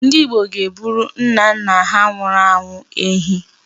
Ndị Igbo na-egburu nnanna ha nwụrụ anwụ ehi.